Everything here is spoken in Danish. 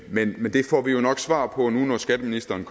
men det får vi jo nok svar på når skatteministeren